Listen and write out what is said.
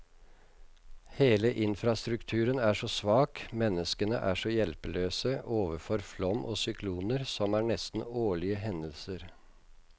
Hele infrastrukturen er så svak, menneskene er så hjelpeløse overfor flom og sykloner, som er nesten årlige hendelser.